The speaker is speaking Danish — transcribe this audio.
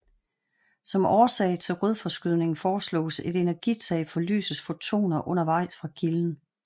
Som årsag til rødforskydningen foreslås et energitab for lysets fotoner undervejs fra kilden